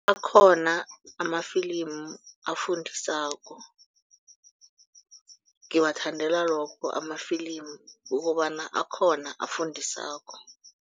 Akhona amafilimu afundisako ngiwathandela lokho amafilimu ukobana akhona afundisako.